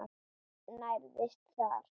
Nærðist þar.